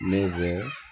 Ne bɛ